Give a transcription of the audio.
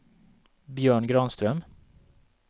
Björn Granström